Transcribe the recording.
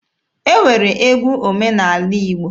E nwere egwu omenaala Igbo